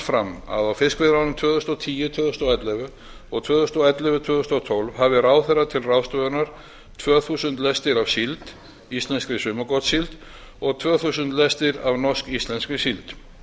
fram að á fiskveiði árinu tvö þúsund og tíu til tvö þúsund og ellefu og tvö þúsund og ellefu til tvö þúsund og tólf hafi ráðherra til ráðstöfunar tvö þúsund lestir af síld íslenskri sumargotssíld og tvö þúsund lestir af norsk íslenskri síld